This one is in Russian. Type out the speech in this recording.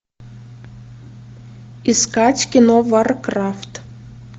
искать кино варкрафт